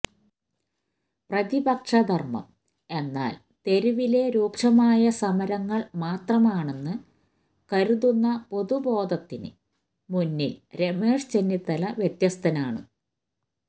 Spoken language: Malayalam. പതിപക്ഷ ധര്മം എന്നാല് തെരുവിലെ രൂക്ഷമായ സമരങ്ങള് മാത്രമാണെന്ന് കരുതുന്ന പൊതുബോധത്തിന് മുന്നില് രമേശ് ചെന്നിത്തല വ്യത്യസ്തനാണ്